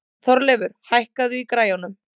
Þorleifur, hækkaðu í græjunum.